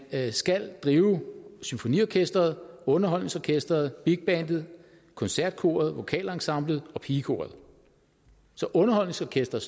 skal drive symfoniorkestret underholdningsorkestret big bandet koncertkoret vokalensemblet og pigekoret så underholdningsorkestret